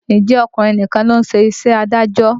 Ǹjẹ́ ọkùnrin nìkan ló ń ṣe iṣẹ́ adájọ́?